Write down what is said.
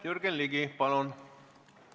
Jürgen Ligi, palun!